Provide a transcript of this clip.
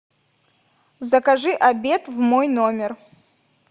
закажи обед в мой номер